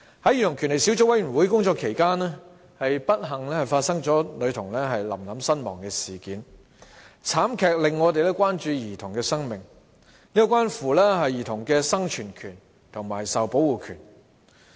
在小組委員會工作期間，不幸發生女童"臨臨"身亡的事件，慘劇令我們關注兒童的生命，這關乎兒童的生存權與受保護權。